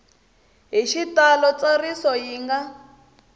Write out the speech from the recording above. hi xitalo ntsariso yi nga